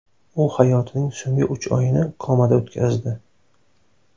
U hayotining so‘nggi uch oyini komada o‘tkazdi.